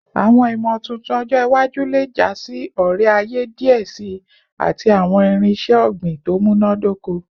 Awọn imotuntun ọjọ iwaju le ja si ore-aye diẹ sii ati awọn irinṣẹ ogbin to munadoko